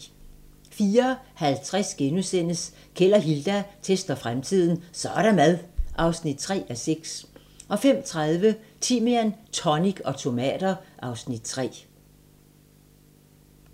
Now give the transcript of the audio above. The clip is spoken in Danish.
04:50: Keld og Hilda tester fremtiden - Så' der mad! (3:6)* 05:30: Timian, tonic og tomater (Afs. 3)